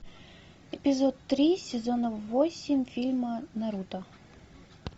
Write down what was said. эпизод три сезона восемь фильма наруто